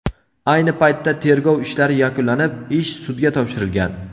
Ayni paytda tergov ishlari yakunlanib, ish sudga topshirilgan.